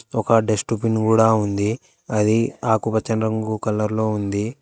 ఒక dustbin కూడా ఉంది అది ఆకుపచ్చ రంగు కలర్ లో ఉంది.